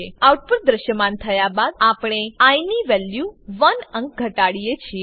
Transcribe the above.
output દ્રશ્યમાન થયા બાદ આપણે આઇ ની વેલ્યુ 1 અંક ઘટાડીએ છીએ